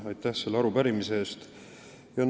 Aitäh selle arupärimise eest!